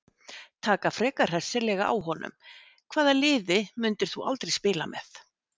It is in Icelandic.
Taka frekar hressilega á honum Hvaða liði myndir þú aldrei spila með?